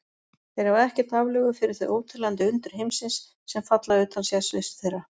Þeir hafa ekkert aflögu fyrir þau óteljandi undur heimsins, sem falla utan sérsviðs þeirra.